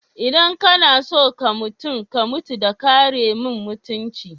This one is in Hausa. Idan ka na so ka mutum, ka mutu da karemin mutumci.